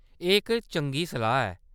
एह्‌‌ इक चंगी सलाह्‌‌ ऐ।